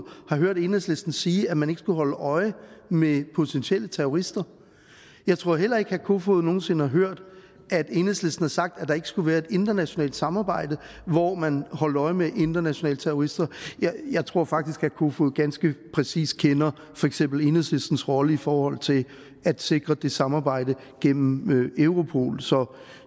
har hørt enhedslisten sige at man ikke skulle holde øje med potentielle terrorister jeg tror heller ikke herre peter kofod nogen sinde har hørt at enhedslisten har sagt at der ikke skulle være et internationalt samarbejde hvor man holdt øje med internationale terrorister jeg tror faktisk herre peter kofod ganske præcist kender for eksempel enhedslistens rolle i forhold til at sikre det samarbejde gennem europol så